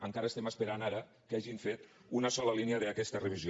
encara estem esperant ara que hagin fet una sola línia d’aquesta revisió